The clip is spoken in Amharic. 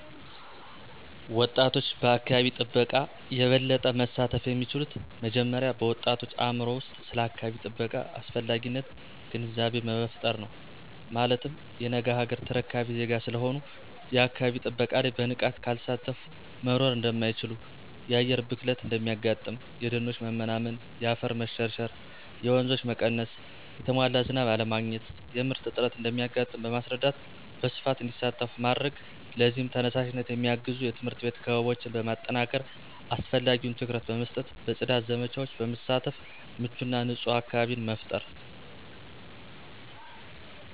ወጣቶች በአካባቢ ጥበቃ የበለጠ መሳተፍ የሚችሉት መጀመሪያ በወጣቶች አእምሮ ውስጥ ስለ አካባቢ ጥበቃ አስፈላጊነት ግንዛቤ በመፍጠር ነው። ማለትም የነገ አገር ተረካቢ ዜጋ ስለሆኑ የአካባቢ ጥበቃ ላይ በንቃት ካልተሳተፊ መኖር እደማይችሉ የአየር ብክለት እንደሚያጋጥም :የደኖች መመናመን :የአፈር መሸርሸር :የወንዞች መቀነስ: የተሟላ ዝናብ አለማግኘት :የምርት እጥረት እንደሚያጋጥም በማስረዳት በስፋት እንዲሳተፉ ማድረግ ለዚህም ተነሳሽነት የሚያግዙ የትምህርት ቤት ክበቦችን በማጠናከር አስፈላጊውን ትኩረት በመስጠት በጽዳት ዘመቻወች በመሳተፍ ምቹና ንጹህ አካባቢን መፍጠር።